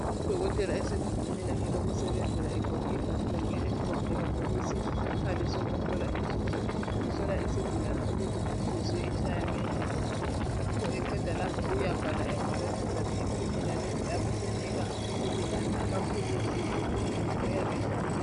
Udokotela esegumbini lakhe lokusebenzela egqoke ibhatshi lakheelimhlophe isikhali sakuhlola inhliziyo ukuthi itshaya ngendlela ngakho eqeda lapho uyabhala engwalweni zakhe impumela lezi abesenika isigulane imithi kumbe amaphilisi ayabe ewadinga.